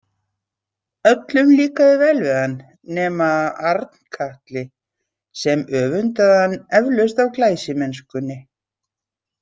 Öllum líkaði vel við hann nema Arnkatli sem öfundaði hann eflaust af glæsimennskunni.